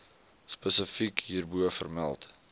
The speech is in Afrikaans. spesifiek hierbo vermeld